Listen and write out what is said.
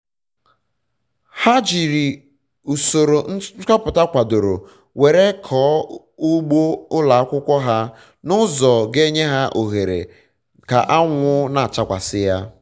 ha ji usoro nchopụta kwadoro were um kọọ ugbo ụlọakwụkwọ ha na ụzọ ga enye ohere ka anwụ na-achakwasị ya um